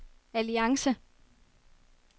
alliance